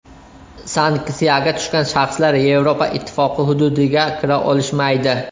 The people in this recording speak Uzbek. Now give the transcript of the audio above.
Sanksiyaga tushgan shaxslar Yevropa Ittifoqi hududiga kira olishmaydi.